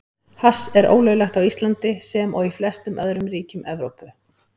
Hass er ólöglegt á Íslandi, sem og í flestum öðrum ríkjum Evrópu.